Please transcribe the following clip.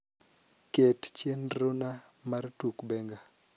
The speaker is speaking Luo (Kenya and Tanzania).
ket chenrona mar tuk benga